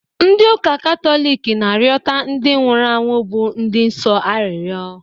Ndị ụka Katọliki na-arịọta ndị nwụrụ anwụ bụ ndị nsọ arịrịọ